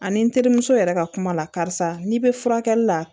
Ani n terimuso yɛrɛ ka kuma la karisa n'i bɛ furakɛli la